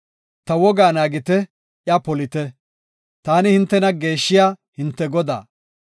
Ta wogaa naagite; iya polite. Taani hintena geeshshiya, hinte Godaa.